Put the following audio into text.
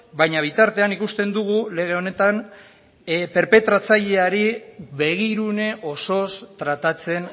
baina bitartean ikusten dugu lege honetan perpetratzaileari begirune osoz tratatzen